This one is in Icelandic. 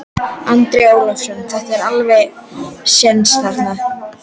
Andri Ólafsson: Það er alveg séns þarna?